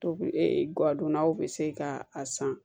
Tobi e gadonnaw bɛ se ka a san